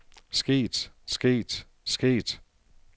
sket sket sket